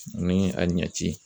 Ani a ɲɛci